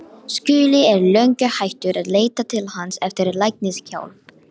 Skúli er löngu hættur að leita til hans eftir læknishjálp.